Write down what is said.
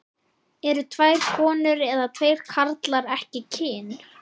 Eru tvær konur eða tveir karlar ekki kyn?